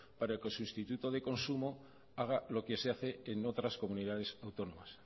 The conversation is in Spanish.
para el sustituto de consumo haga lo que se hace en otras comunidades autónomas